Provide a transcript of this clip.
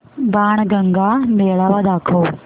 बाणगंगा मेळावा दाखव